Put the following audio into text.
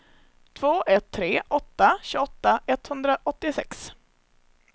två ett tre åtta tjugoåtta etthundraåttiosex